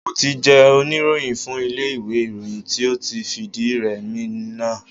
Mo ti jẹ́ oníròyìn fún ilé iwe ìròyìn tí ó ti fìdí rẹ'mi náà.